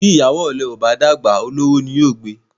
Bí ìyàwó ọ̀lẹ́ bá dàgbà, olówó ni yó gbé e.